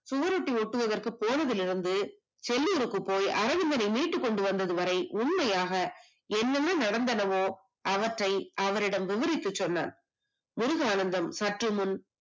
சுவரொட்டி ஒட்ட போனதுல இருந்து செல்லுருக்கு போய் அரவிந்தனை மீட்டுகொண்டு வந்தது வரை உண்மையாக என்னென்ன நடந்தனவோ அவற்றை அவரிடம் விவரிக்கச் சொன்னார், முருகானந்தம் சற்றுமுன்